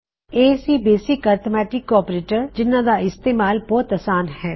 ਇਹ ਸੀ basic arithmetic operator ਜਿਨ੍ਹਾ ਗਾ ਉਸਤੇਮਾਲ ਬਹੁਤ ਆਸਾਨ ਹੈ